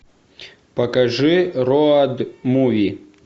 покажи роад муви